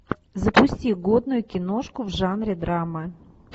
запусти годную киношку в жанре драма